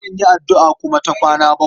Akan yi addu'a kuma ta kwana bakwai.